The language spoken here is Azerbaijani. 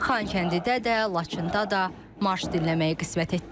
Xankəndidə də, Laçında da marş dinləməyi qismət etdi.